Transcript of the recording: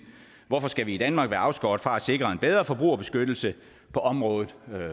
hvorfor skal vi i danmark være afskåret fra at sikre en bedre forbrugerbeskyttelse på området